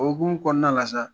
O hukumu kɔnɔna la sa